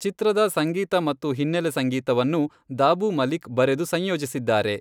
ಚಿತ್ರದ ಸಂಗೀತ ಮತ್ತು ಹಿನ್ನೆಲೆ ಸಂಗೀತವನ್ನು ದಾಬೂ ಮಲಿಕ್ ಬರೆದು ಸಂಯೋಜಿಸಿದ್ದಾರೆ.